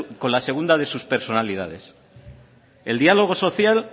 con la segunda de sus personalidades el diálogo social